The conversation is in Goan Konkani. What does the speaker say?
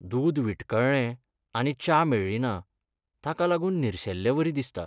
दूद विठकळ्ळें आनी च्या मेळ्ळिना, ताका लागून निर्शेल्लेवरी दिसता.